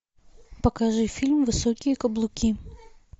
покажи фильм высокие каблуки